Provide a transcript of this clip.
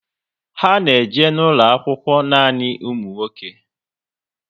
Ha na eje n'ulo akwụkwọ nanị ụmụ nwoke